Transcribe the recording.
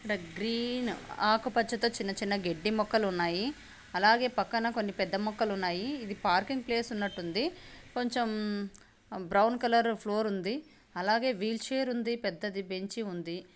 ఇక్కడ గ్రీన్ ఆకుపచ్చ తో చిన్న చిన్న గడ్డి మొక్కలు ఉన్నాయి. అలాగే పక్కన కొన్ని పెద్ద మొక్కలున్నాయి. ఇది పార్కింగ్ ప్లేస్ ఉన్నట్టుంది. కొంచెం బ్రౌన్ కలర్ ఫ్లోర్ ఉంది. అలాగే వీల్ చైర్ ఉంది. పెద్దది బెంచి ఉంది.